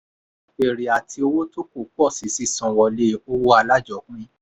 èrè àti owó tó kù pọ̀ síi sísanwọlé owó alájọpín.